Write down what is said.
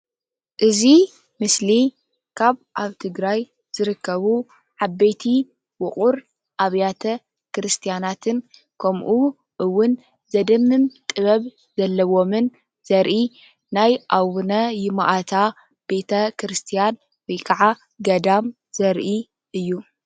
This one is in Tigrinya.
እዚ ምስሊ ካብ ኣብ ትግራይ ዝርከቡ ዓበይቲ ውቁር ኣብያተ ክርስትያናትን ከምኡ እውን ዘድምም ጥበብ ዘለዎምን ዘርኢ ናይ ኣቡነ ይማእታ ቤተክርስትያን ወይ ከዓ ገዳም ዘርኢ እዩ፡፡